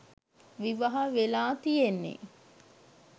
විවාහ වෙලා තියෙන්නේ?